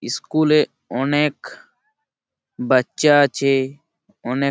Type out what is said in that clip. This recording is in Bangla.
স্কুল -এ অনেক বাচ্চা আছে অনেক ।